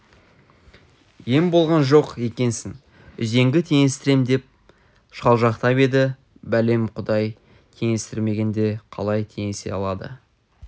ем болған жоқ екенсің үзеңгі теңестірем деп шалжақтап еді бәлем құдай теңестірмегенде қалай теңесе алады